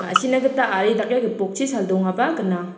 ma·sina gita ari dake gipokchi saldongaba gnang.